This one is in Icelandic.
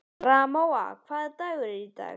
Ramóna, hvaða dagur er í dag?